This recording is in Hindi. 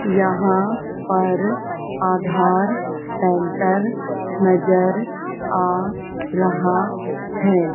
यहां पर आधार सेंटर नजर आ रहा है।